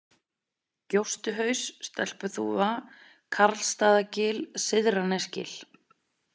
Gjóstuhaus, Stelpuþúfa, Karlsstaðagil, Syðra-Nesgil